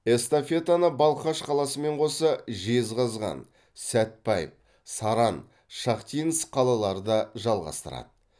эстафетаны балқаш қаласымен қоса жезқазған сәтбаев саран шахтинск қалалары да жалғастырады